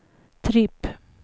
tripp